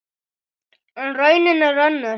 En raunin er önnur.